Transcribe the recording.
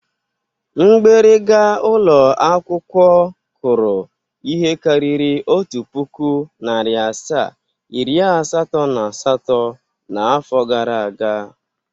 Mgbịrịga ụlọakwụkwọ kụrụ ihe karịrị otu pụkụ, narị asaa, iri asatọ na asatọ n'afọ gara aga.